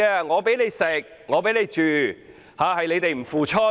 我給你吃，給你住，但你們不付出。